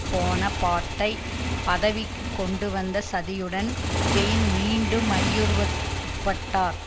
போனபார்ட்டை பதவிக்கு கொண்டு வந்த சதியுடன் பெயின் மீண்டும் ஐயுறவிற்குட்பட்டார்